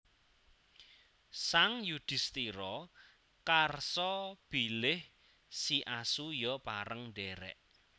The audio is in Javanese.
Sang Yudhistira karsa bilih si asu ya pareng ndhèrèk